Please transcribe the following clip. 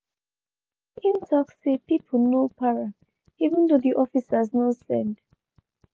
im tok say make people no para even though di officers no send.